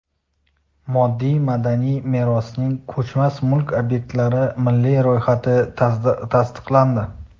Moddiy madaniy merosning ko‘chmas mulk obyektlari milliy ro‘yxati tasdiqlandi.